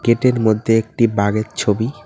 এটির মধ্যে একটি বাঘের ছবি।